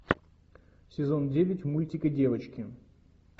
сезон девять мультик и девочки